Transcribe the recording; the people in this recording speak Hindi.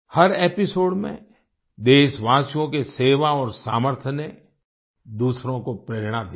हर एपिसोड में देशवासियों के सेवा और सामर्थ्य ने दूसरों को प्रेरणा दी है